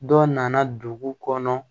Dɔ nana dugu kɔnɔ